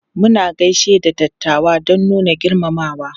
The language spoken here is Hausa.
Muna gaishe da dattawa don nuna girmamawa.